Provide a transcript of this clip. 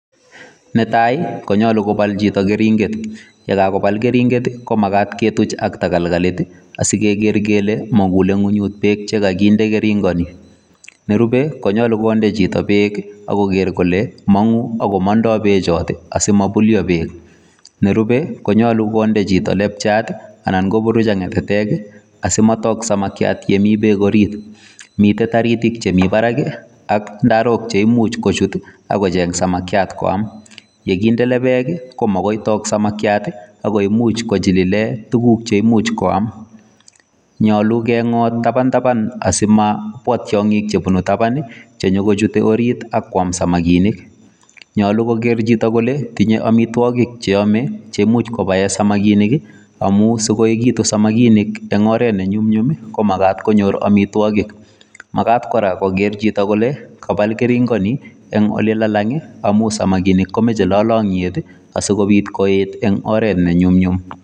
Netai konyolu kobal chito keringet, ye kagobal keringet komagat ketuch ak takolkolit asi kegere kele mogule ng'weny beek che koginde keringon. Nerube konyolu konde chito beek ak koger kole mong'u ak komondo beechoto asima bulyo beek. Nerube konyolu konde chito labjat anan koburuch ak ng'atatek asimatok samakiat ye mi beek orit. Mitaritik che mi barak ak ndarok cheimuch kochut kocheng samakiat koam. Ye kinde labjat ii komogoi tok samakiat ago imuch kochililen tuguk che imuch koam. Nyolu keng'ot tabantaban asimabwa tiong'ik chebunu taban che nyo kochute orit ak koam samikinik. Nyolu kogeer chito kole tinye amitwogik che yome che imuch kobaen samakinik amun sikoyechegitu samakinik eng oret ne nyumnyum ko magat konyor amitwogik. Magat kora kogere chito kole kabal keringoni en ole lalang amun samakinik komoche lolong'yet asi kobit koet en oret ne nyumnyum.